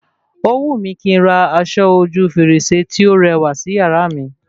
Ó wù mí kín n ra aṣọ ojú fèrèsé tí o rẹwà sí yàrá mi